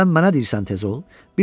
Sən mənə deyirsən tez ol?